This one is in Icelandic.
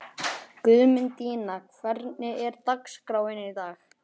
Guðmundína, hvernig er dagskráin í dag?